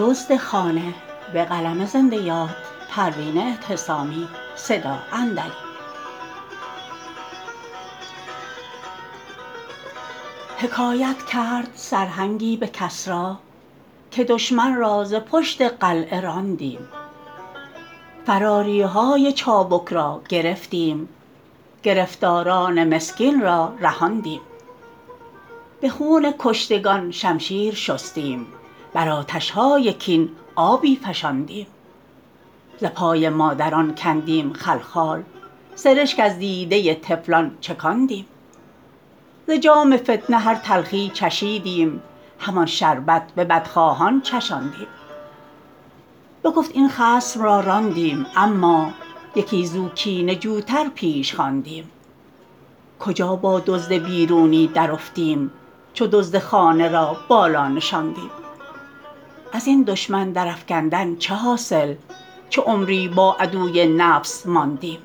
حکایت کرد سرهنگی به کسری که دشمن را ز پشت قلعه راندیم فراریهای چابک را گرفتیم گرفتاران مسکین را رهاندیم به خون کشتگان شمشیر شستیم بر آتشهای کین آبی فشاندیم ز پای مادران کندیم خلخال سرشک از دیده طفلان چکاندیم ز جام فتنه هر تلخی چشیدیم همان شربت به بدخواهان چشاندیم بگفت این خصم را راندیم اما یکی زو کینه جو تر پیش خواندیم کجا با دزد بیرونی درافتیم چو دزد خانه را بالا نشاندیم ازین دشمن در افکندن چه حاصل چو عمری با عدوی نفس ماندیم